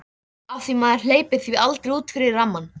Af því maður hleypir því aldrei út fyrir rammann.